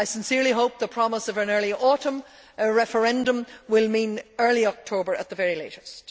I sincerely hope the promise of an early autumn referendum will mean early October at the very latest.